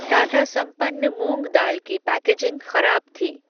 टाटा संपन्न मूंग दाल की पैकेजिंग खराब थी।